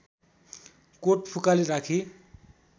coat फुकाली राखी